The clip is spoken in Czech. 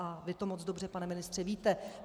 A vy to moc dobře, pane ministře, víte.